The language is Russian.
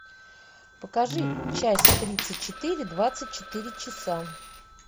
покажи часть тридцать четыре двадцать четыре часа